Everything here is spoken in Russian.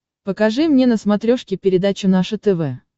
покажи мне на смотрешке передачу наше тв